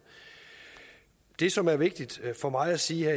det som er vigtigt for mig at sige